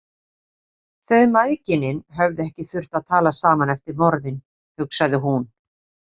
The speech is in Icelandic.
Þau mæðginin höfðu ekki þurft að tala saman eftir morðin, hugsaði hún.